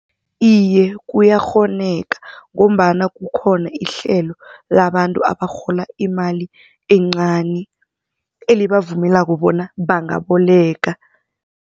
Iye, kuyakghoneka ngombana kukhona ihlelo labantu abarhola imali encani elibavumelako bona bangaboleka.